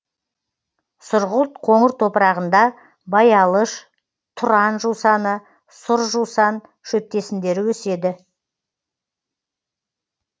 сұрғылт қоңыр топырағында баялыш тұран жусаны сұр жусан шөптесіндері өседі